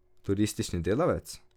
Turistični delavec?